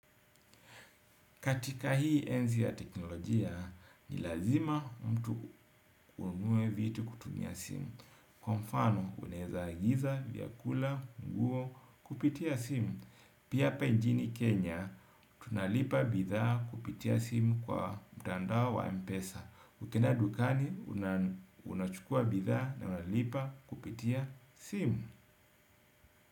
Katika hii enzi ya teknolojia, ni lazima mtu uamue vitu kutumia simu. Kwa mfano, uneza agiza, vyakula, nguo, kupitia simu. Pia apa njini Kenya, tunalipa bidhaa kupitia simu kwa mtandao wa Mpesa. Ukienda dukani, unachukua bidhaa na unalipa kupitia simu.